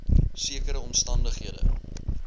sekere omstan dighede